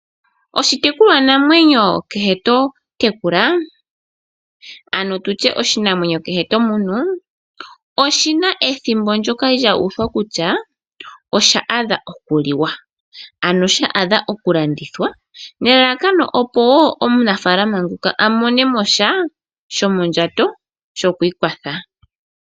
Oshitekulwanamwenyo kehe tomunu oshina ethimbo ndjoka lya uthwa kutya osha adha okuliwa nenge okulanditha nelalakano opo omunafalama ngoka amone mo sha shomondjato.